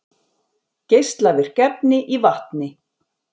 Geislavirk efni í vatni